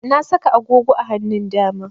Na saka agogo a hanun dama